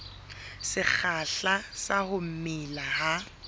sekgahla sa ho mela ha